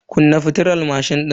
Kunna fitilar mashin din.